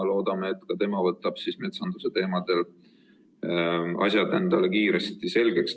Loodame, et ka tema teeb metsanduse asjad endale kiiresti selgeks.